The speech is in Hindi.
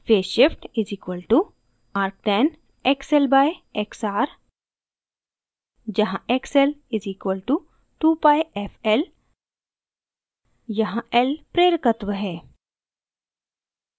phase shift φ = arctan xl/xr जहाँ xl = 2πfl यहाँ l प्रेरकत्व है